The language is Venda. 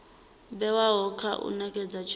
vhewaho kha u nekedza tshumelo